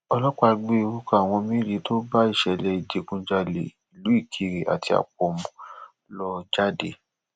ọlọpàá gbé orúkọ àwọn méje tó bá ìṣẹlẹ ìdígunjalè ìlú ìkirè àti àpọmù lọ jáde